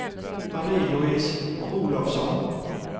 Marie-Louise Olovsson